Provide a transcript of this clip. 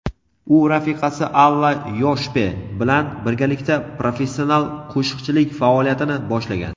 u rafiqasi Alla Yoshpe bilan birgalikda professional qo‘shiqchilik faoliyatini boshlagan.